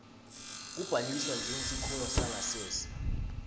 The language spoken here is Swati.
kubhaliswa njengesikhungo sangasese